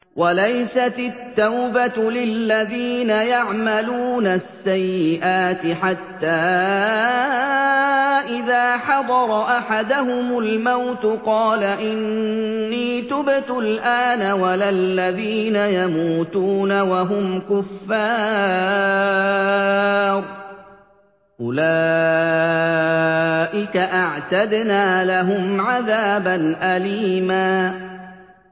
وَلَيْسَتِ التَّوْبَةُ لِلَّذِينَ يَعْمَلُونَ السَّيِّئَاتِ حَتَّىٰ إِذَا حَضَرَ أَحَدَهُمُ الْمَوْتُ قَالَ إِنِّي تُبْتُ الْآنَ وَلَا الَّذِينَ يَمُوتُونَ وَهُمْ كُفَّارٌ ۚ أُولَٰئِكَ أَعْتَدْنَا لَهُمْ عَذَابًا أَلِيمًا